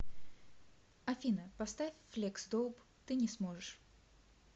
афина поставь флексдоуп ты не сможешь